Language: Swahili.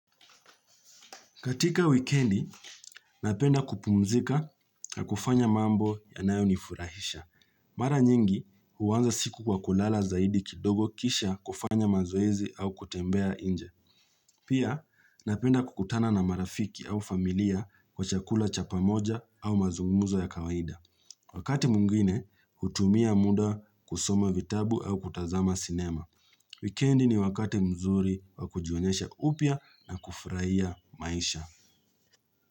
Katika wikendi, napenda kupumzika na kufanya mambo yanayonifurahisha. Mara nyingi, huanza siku kwa kulala zaidi kidogo kisha kufanya mazoezi au kutembea inje. Pia, napenda kukutana na marafiki au familia kwa chakula chapa moja au mazungumzo ya kawaida. Wakati mwingine, hutumia muda kusoma vitabu au kutazama sinema. Wikendi ni wakati mzuri wa kujionyesha upya na kufurahia maisha.